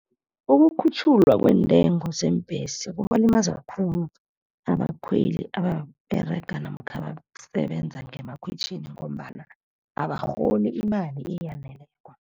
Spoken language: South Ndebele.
Ukukhutjhulwa kwentengo zeembhesi kubalimaza khulu abakhweli ababerega namkha abasebenza ngemakhwitjhini ngombana abarholi imali eyaneleko.